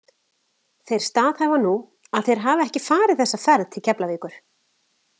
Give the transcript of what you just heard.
Þeir staðhæfa nú, að þeir hafi ekki farið þessa ferð til Keflavíkur.